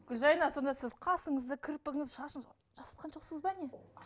гүлжайна сонда сіз қасыңызды кірпігіңізді шашыңызды жасатқан жоқсыз ба не